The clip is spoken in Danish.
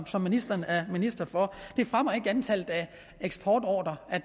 som ministeren er minister for det fremmer ikke antallet af eksportordrer at